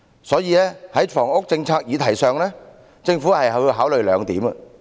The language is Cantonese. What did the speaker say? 所以，在房屋政策議題上，政府要考慮兩點。